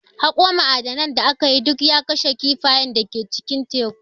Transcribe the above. Haƙo ma'adanan da aka yi, duk ya kashe kifayen da ke cikin tekun.